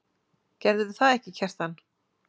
Gerðirðu það ekki, Kjartan?